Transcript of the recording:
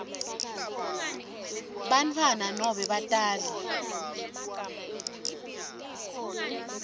bantfwana nobe batali